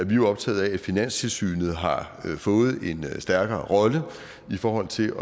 vi jo optaget af at finanstilsynet har fået en stærkere rolle i forhold til